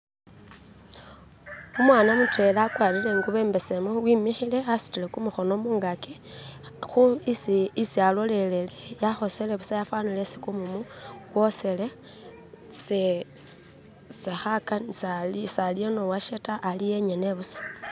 Umwana mutwela akwarire ingubo imbesemu wemikhile wasutile kumukhono mungaki, isi alolele yakhosele busa yafanile isis kumumu kwosyele, saliyo nowoshe ta, aliyo engene busa.